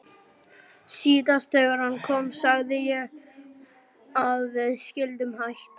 Síðast þegar hann kom sagði ég að við skyldum hætta.